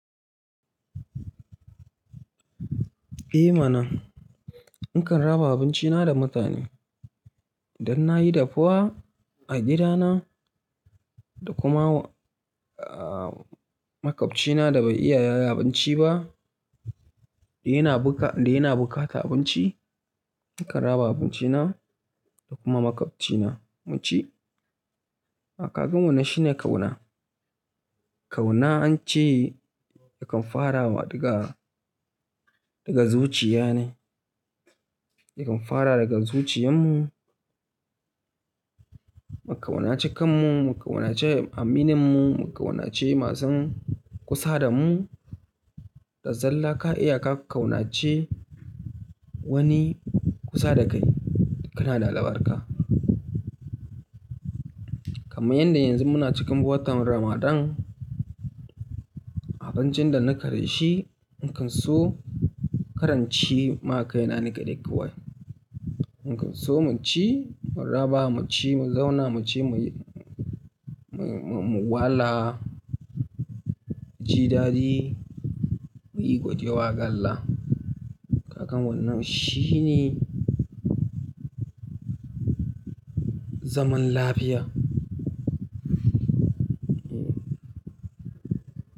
Eh mana, nakan raba abinci na da mutane. Idan na yi dafuwa a gida na, da kuma, ah, maƙwabci na da bai iya yayi abinci ba, da yana buƙatan abinci, nakan raba abinci na da kuma maƙwabci na mu ci. Ka ga wannan shine ƙauna. Ƙauna an ce yakan fara wa daga, daga zuciya ne. Yakan fara daga zuciyan mu. Mu ƙaunace kan mu, mu ƙaunace aminin mu, mu ƙaunace masu kusa da mu, da zalla ka iya ka ƙaunace wani kusa da kai, kana da albarka. Kaman yanda yanzu muna cikin watan Ramadan, abincin da na ke da shi, nakan so kara inci ma kaina ni kaɗai kawai. Nakan so mu ci, mun raba mu ci, mu zauna mu ci, mu, mun, mu wala, ji dadi, muyi gode wa ga Allah. Kaga wanan shine zaman lafiya. Hmm.